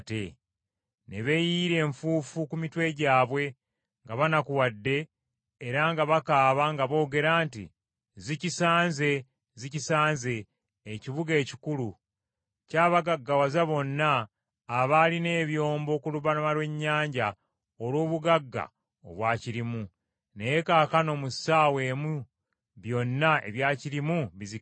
Ne beeyiyira enfuufu ku mitwe gyabwe nga banakuwadde era nga bakaaba nga boogera nti, “ ‘Zikisanze, Zikisanze, ekibuga ekikulu! Kyabagaggawaza bonna abaalina ebyombo ku lubalama lw’ennyanja olw’obugagga obwakirimu, naye kaakano mu ssaawa emu byonna ebyakirimu bizikiridde.’